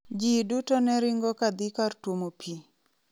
"Jii duto ne ringo kadhii kar tuomo pii".